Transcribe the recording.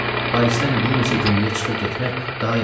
Parisdən bir neçə günlükə çıxıb getmək daha yaxşı olardı.